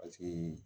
Paseke